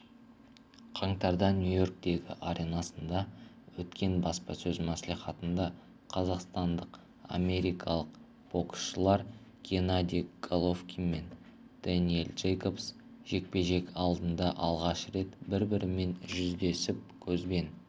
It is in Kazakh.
қаңтарда нью-йорктегі аренасында өткен баспасөз мәслихатында қазақстандық және америкалық боксшылар геннадий головкин мен дэниел джейкобс жекпе-жек алдында алғаш рет бір-бірімен жүздесіп көзбен